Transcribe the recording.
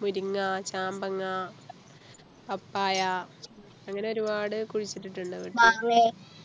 മുരിങ്ങ ചാമ്പങ്ങ papaya അങ്ങനെ ഒരുപാട് കുഴിച്ചിട്ടിട്ടുണ്ട് വീട്ടിൽ